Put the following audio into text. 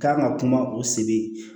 K'an ka kuma o sigi